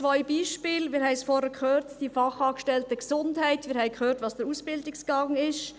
Zwei Beispiele – wir haben es vorhin gehört –, die Fachangestellten Gesundheit, wir haben gehört, welches der Ausbildungsgang ist.